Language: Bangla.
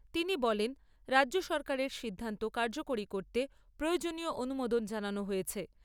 তিনি বলেন রাজ্য সরকারের সিদ্ধান্ত কার্যকরী করতে প্রয়োজনীয় অনুমোদন জানানো হয়েছে।